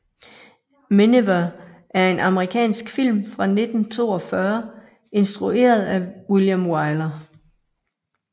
Miniver er en amerikansk film fra 1942 instrueret af William Wyler